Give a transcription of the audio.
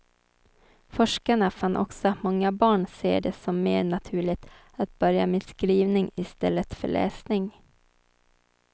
Forskarna fann också att många barn ser det som mer naturligt att börja med skrivning i stället för läsning.